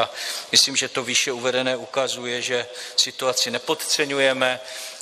A myslím, že to výše uvedené ukazuje, že situaci nepodceňujeme.